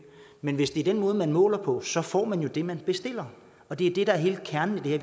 men hvis det er den måde man måler på så får man jo det man bestiller det er det der er hele kernen i det